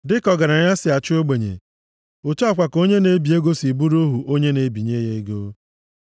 Dịka ọgaranya si achị ogbenye, otu a kwa ka onye na-ebi ego si bụrụ ohu onye na-ebinye ya ego.